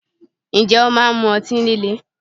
Ǹjẹ́ o máa ń mú ọtí líle?